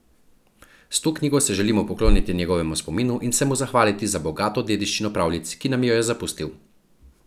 S to knjigo se želimo pokloniti njegovemu spominu in se mu zahvaliti za bogato dediščino pravljic, ki nam jo je zapustil.